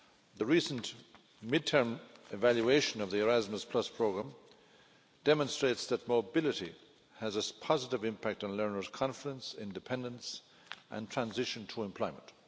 The recent mid term evaluation of the Erasmus programme demonstrates that mobility has a positive impact on learners' confidence, independence and transition to employment.